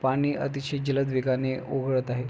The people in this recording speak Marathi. पाणी अतिशय जलद वेगाने ओघळत आहे.